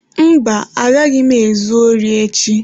Mba, agaghị m ezu ori echi.